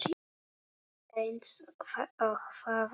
Eins og það er.